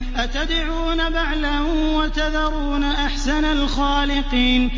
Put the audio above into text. أَتَدْعُونَ بَعْلًا وَتَذَرُونَ أَحْسَنَ الْخَالِقِينَ